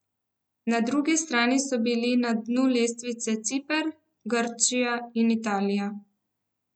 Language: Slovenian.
Na drugi strani so bili na dnu lestvice Ciper, Grčija in Italija.